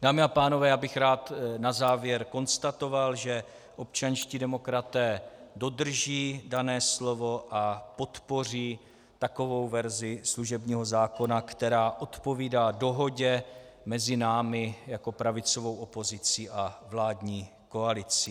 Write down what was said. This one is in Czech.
Dámy a pánové, já bych rád na závěr konstatoval, že občanští demokraté dodrží dané slovo a podpoří takovou verzi služebního zákona, která odpovídá dohodě mezi námi jako pravicovou opozicí a vládní koalicí.